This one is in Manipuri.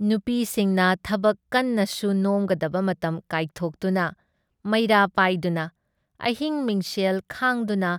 ꯅꯨꯄꯤꯁꯤꯡꯅ ꯊꯕꯛ ꯀꯟꯅ ꯁꯨꯨ ꯅꯣꯝꯒꯗꯕ ꯃꯇꯝ ꯀꯥꯏꯊꯣꯛꯇꯨꯅ ꯃꯩꯔꯥ ꯄꯥꯏꯗꯨꯅ, ꯑꯍꯤꯡ ꯃꯤꯡꯁꯦꯡ ꯈꯥꯡꯗꯨꯅ